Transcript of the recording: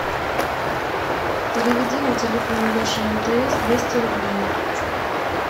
переведи на телефон леша мтс двести рублей